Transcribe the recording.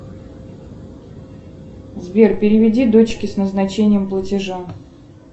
сбер переведи дочке с назначением платежа